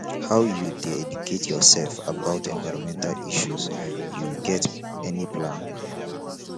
how you dey educate yourself about environmental issues you get any plan